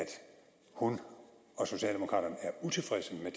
hun og socialdemokraterne er utilfredse med